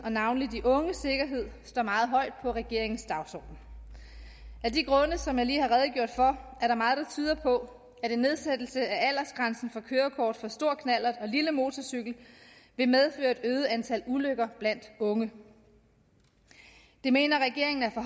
og navnlig de unges sikkerhed står meget højt på regeringens dagsorden af de grunde som jeg lige har redegjort for er der meget der tyder på at en nedsættelse af aldersgrænsen for kørekort til stor knallert og lille motorcykel vil medføre et øget antal ulykker blandt unge det mener regeringen er for